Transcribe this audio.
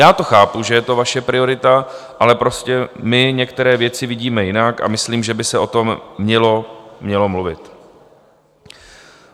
Já to chápu, že je to vaše priorita, ale prostě my některé věci vidíme jinak a myslím, že by se o tom mělo mluvit.